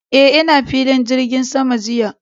Eh, ina filin jirgin sama jiya.